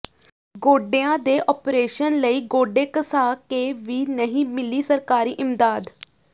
ਗੋਡਿਆਂ ਦੇ ਆਪਰੇਸ਼ਨ ਲਈ ਗੋਡੇ ਘਸਾ ਕੇ ਵੀ ਨਹੀਂ ਮਿਲੀ ਸਰਕਾਰੀ ਇਮਦਾਦ